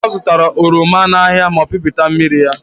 Ọzụtara oroma n'ahịa ma pịpụta mmiri ya.